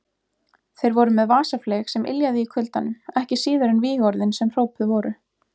Þeir voru með vasafleyg sem yljaði í kuldanum, ekki síður en vígorðin sem hrópuð voru.